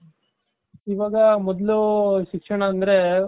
ಇವಾಗ ಮೊದ್ಲು ಶಿಕ್ಷಣ ಅಂದ್ರೆ